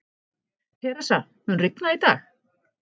Theresa, mun rigna í dag?